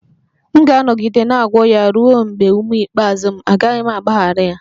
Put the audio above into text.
M ga-anọgide na-agwọ ya ruo mgbe ume ikpeazụ m, agaghị m agbaghara ya